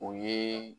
O ye